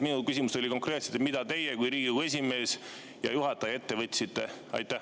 Mu küsimus oli konkreetne: mida teie kui Riigikogu esimees ja juhataja ette võtsite?